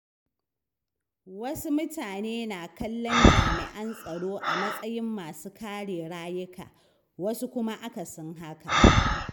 Wasu mutane na kallon jami’an tsaro a matsayin masu kare rayuka, wasu kuma akasin haka.